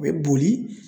O bɛ boli